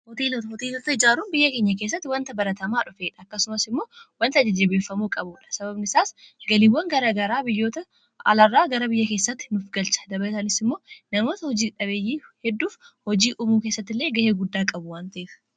hooteeloota ijaaruun biyya keenya keessatti wanta baratamaa dhufe akkasumas immoo wanta jajjabeeffamuu qabuudha. sababni isaas galiiwwan garaa garaa biyyoota alaarraa gara biyya keessatti nuuf galcha. dabalataanis immoo namoota hojii dhabeeyyii hedduuf hojii uumuu keessattillee ga'ee guddaa qabu waan ta'eef